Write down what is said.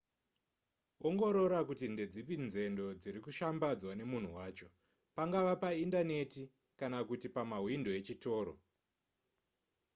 ongorora kuti ndedzipi nzendo dziri kushambadzwa nemunhu wacho pangava paindaneti kana kuti pamahwindo echitoro